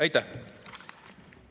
Aitäh!